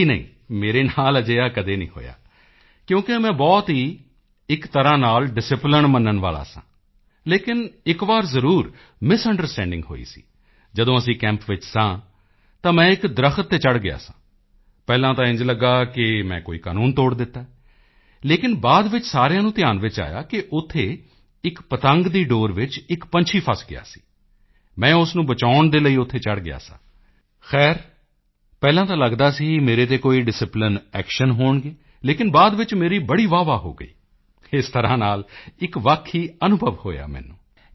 ਜੀ ਨਹੀਂ ਮੇਰੇ ਨਾਲ ਅਜਿਹਾ ਕਦੇ ਹੋਇਆ ਨਹੀਂ ਕਿਉਂਕਿ ਮੈਂ ਬਹੁਤ ਹੀ ਇੱਕ ਤਰ੍ਹਾਂ ਨਾਲ ਡਿਸਿਪਲਾਈਨ ਮੰਨਣ ਵਾਲਾ ਸਾਂ ਲੇਕਿਨ ਇੱਕ ਵਾਰ ਜ਼ਰੂਰ ਮਿਸੁੰਡਰਸਟੈਂਡਿੰਗ ਹੋਈ ਸੀ ਜਦੋਂ ਅਸੀਂ ਕੈਂਪ ਵਿੱਚ ਸਾਂ ਤਾਂ ਮੈਂ ਇੱਕ ਦਰੱਖਤ ਤੇ ਚੜ੍ਹ ਗਿਆ ਸਾਂ ਪਹਿਲਾਂ ਤਾਂ ਇੰਝ ਲੱਗਾ ਕਿ ਮੈਂ ਕੋਈ ਕਾਨੂੰਨ ਤੋੜ ਦਿੱਤਾ ਹੈ ਲੇਕਿਨ ਬਾਅਦ ਵਿੱਚ ਸਾਰਿਆਂ ਨੂੰ ਧਿਆਨ ਵਿੱਚ ਆਇਆ ਕਿ ਉੱਥੇ ਇੱਕ ਪਤੰਗ ਦੀ ਡੋਰ ਵਿੱਚ ਇੱਕ ਪੰਛੀ ਫ਼ਸ ਗਿਆ ਸੀ ਮੈਂ ਉਸ ਨੂੰ ਬਚਾਉਣ ਦੇ ਲਈ ਉੱਥੇ ਚੜ੍ਹ ਗਿਆ ਸਾਂ ਖ਼ੈਰ ਪਹਿਲਾਂ ਤਾਂ ਲੱਗਦਾ ਸੀ ਕਿ ਮੇਰੇ ਤੇ ਕੋਈ ਡਿਸਿਪਲਾਈਨ ਐਕਸ਼ਨ ਹੋਣਗੇ ਲੇਕਿਨ ਬਾਅਦ ਵਿੱਚ ਮੇਰੀ ਬੜੀ ਵਾਹਵਾਹ ਹੋ ਗਈ ਇਸ ਤਰ੍ਹਾਂ ਨਾਲ ਇੱਕ ਵੱਖ ਹੀ ਅਨੁਭਵ ਹੋਇਆ ਮੈਨੂੰ